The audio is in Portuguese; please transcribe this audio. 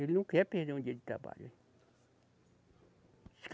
Ele não quer perder um dia de trabalho.